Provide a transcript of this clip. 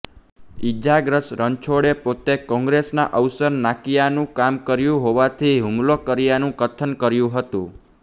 ઈજાગ્રસ્ત રણછોડે પોતે કોંગ્રેસના અવસર નાકીયાનું કામ કર્યું હોવાથી હૂમલો કર્યાનું કથન કર્યું હતું